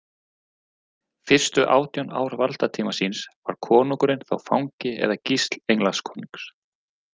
Fyrstu átján ár valdatíma síns var konungurinn þó fangi eða gísl Englandskonungs.